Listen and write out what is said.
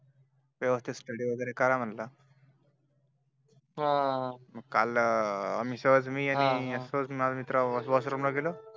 तेव्हा ते स्टडी वैगेरे कर म्हंटल. हम्म मग काल हम्म मी आणि मित्र सहज बा वॉशरूम ला गेलो